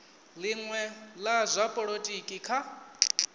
linwe la zwa polotiki kha